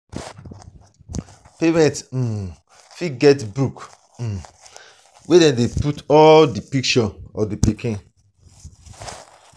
parent um fit get baby book um wey dem go put all di picture of di pikin